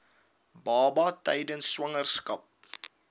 baba tydens swangerskap